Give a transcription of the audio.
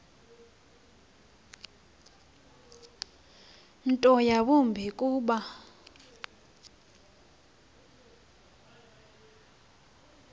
nto yawumbi kuba